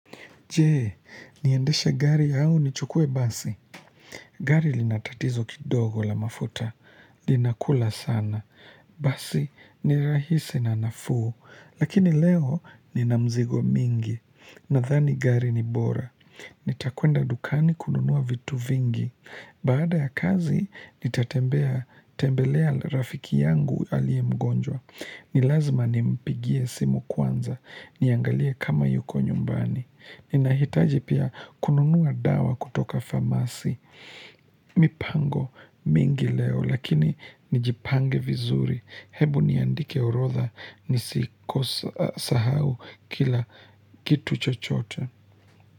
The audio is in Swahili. Je, niendeshe gari au nichukue basi. Gari lina tatizo kidogo la mafuta. Linakula sana. Basi ni rahisi na nafuu. Lakini leo nina mzigo mingi. Nadhani gari ni bora. Nitakwenda dukani kununua vitu vingi. Baada ya kazi, nitatembelea rafiki yangu aliye mgonjwa. Ni lazima nimpigie simu kwanza. Niangalie kama yuko nyumbani. Ninahitaji pia kununua dawa kutoka pharmacy. Mipango mingi leo lakini nijipange vizuri. Hebu niandike orodha nisikose sahau kila kitu chochote.